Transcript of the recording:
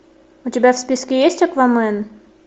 у тебя в списке есть аквамен